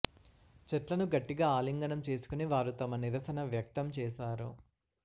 చెట్లను గట్టిగా ఆలింగనం చేసుకుని వారు తమ నిరసన వ్యక్తం చేశారు